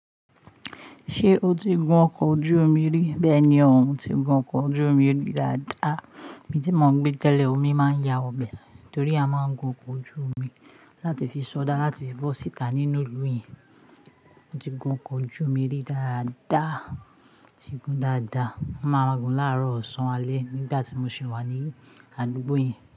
Ṣé o ti gun ọkọ̀ ojú omi rí? Bẹ́ẹ̀ní, mò tí gùn ọkọ̀ ojú òmí dáadáa. Ìbi tí mó ń gbé tẹ́lẹ̀, òmí máa ń ya wọ ìbẹ̀ tòrí a máa ń gún ọkọ̀ ojú ómí látí fí sọodá látí bọ́ síta nínú ílú yẹn. Mó tí gún ọkọ̀ ojú òmi rí dáadáa, tí gún dáadáa. Mó máa gún láàárọ̀, ọ̀sán, alẹ́ nígbà tí mo sì wà ní àdúgbò yẹn.